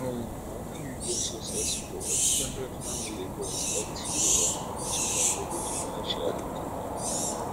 um when you dey successful ex ten ded family go expect you um to contribute financially to dem